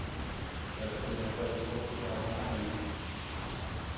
Falei quer saber de uma coisa, acho que vou procurar um analista.